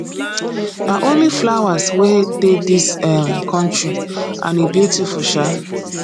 na only flowers wey dey dis um country and e beautiful um